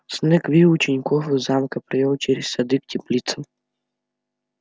снегг вывел учеников из замка повёл через сады к теплицам